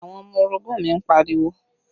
Àwọn ọmọ orogun mi ń pariwo